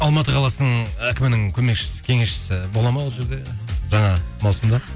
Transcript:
алматы қаласының әкімінің көмекшісі кеңесшісі бола ма ол жерде жаңа маусымда